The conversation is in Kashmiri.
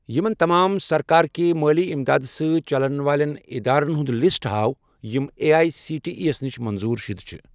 یِمَن تمام سرکار کہِ مٲلی اِمداد سٟتؠ چَلن والیٚن اِدارن ہُنٛد لسٹ ہاو یِم A I C T E نِش منظور شُدٕ چھِ